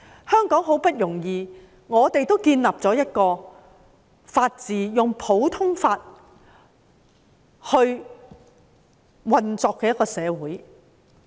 香港很不容易地建立了法治，建立了一個以普通法運作的社會。